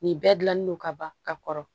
Nin bɛɛ dilannen don ka ban ka kɔrɔ